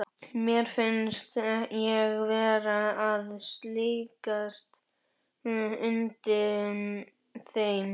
Mér fannst ég vera að sligast undan þeim.